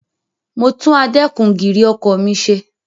Mo tún adẹ́kun-gìrì ọkọ̀ mi ṣe.